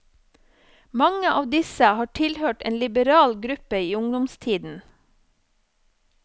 Mange av disse har tilhørt en liberal gruppe i ungdomstiden.